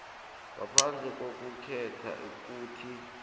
ngaphandle kokukhetha ukuthi